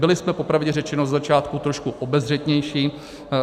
Byli jsme popravdě řečeno ze začátku trošku obezřetnější.